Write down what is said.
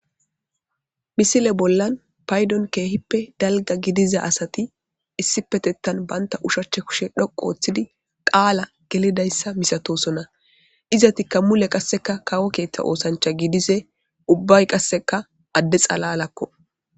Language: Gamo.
Missile bolan paydon kehipe dalga gidiza asati issipetetan banta ushacha kushe dhoqu otidi qala gelidaysa misatosona izatika mule qaseka kawo ketha osancha gidishe ubay qaseka ade xalalako.